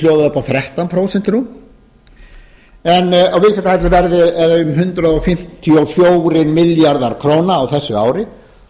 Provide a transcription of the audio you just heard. rúm þrettán prósent en viðskiptahallinn verði um hundrað fimmtíu og fjórir milljarðar króna á þessu ári